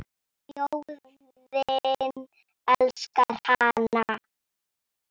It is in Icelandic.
Þjóðin elskar hana.